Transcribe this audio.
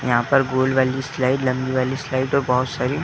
यहाँ पर गोल वाली स्लाइड लम्बी वाली स्लाइड और बहोत सारी --